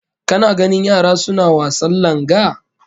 Kana ganin yara suna wasan langa?